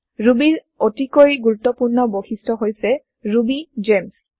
ৰুবীৰ অতিকৈ গুৰুত্বপূৰ্ণ বৈশিষ্ট হৈছে ৰুবিগেমছ